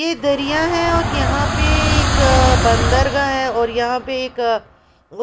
यह दरिया है और यहाँ पे एक बंदरगाह है और यहाँ पे एक